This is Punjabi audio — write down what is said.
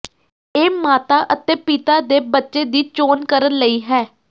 ਇਹ ਮਾਤਾ ਅਤੇ ਪਿਤਾ ਦੇ ਬੱਚੇ ਦੀ ਚੋਣ ਕਰਨ ਲਈ ਹੈ